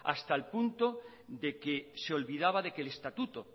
hasta el punto de que se olvidaba de que el estatuto